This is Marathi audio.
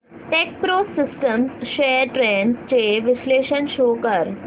टेकप्रो सिस्टम्स शेअर्स ट्रेंड्स चे विश्लेषण शो कर